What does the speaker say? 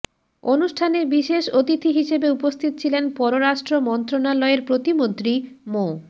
অনুষ্ঠানে বিশেষ অতিথি হিসেবে উপস্থিত ছিলেন পররাষ্ট্র মন্ত্রণালয়ের প্রতিমন্ত্রী মো